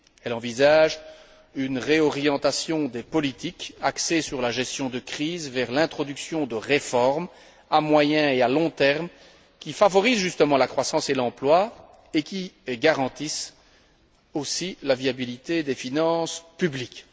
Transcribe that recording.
Elle envisage une réorientation des politiques axées sur la gestion de crise vers l'introduction de réformes à moyen et à long terme, qui favorisent justement la croissance et l'emploi et qui garantissent aussi la viabilité des finances publiques.